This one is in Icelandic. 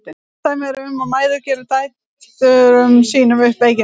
Flest dæmi eru um að mæður geri dætrum sínum upp veikindi.